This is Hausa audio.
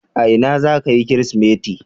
A ina zaka yi kirismeti?